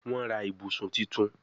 Wón rà ibùsùn títún.